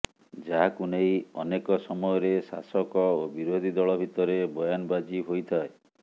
ଯାହାକୁ ନେଇ ଅନେକ ସମୟରେ ଶାସକ ଓ ବିରୋଧୀ ଦଳ ଭିତରେ ବୟାନବାଜି ହୋଇଥାଏ